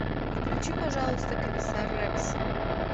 включи пожалуйста комиссар рекс